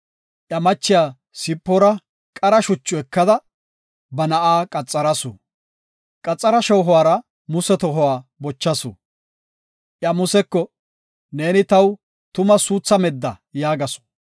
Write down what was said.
Iya machiya Sipoora qara shuchu ekada, ba na7aa qaxarasu. Qaxara shoohuwara Muse tohuwa bochasu. Iya Museko, “Neeni taw tuma suutha medda” yaagasu.